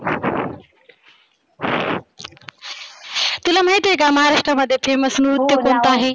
तुला माहिती आहे का? महाराष्ट्रामध्ये famous नृत्य कोणतं आहे?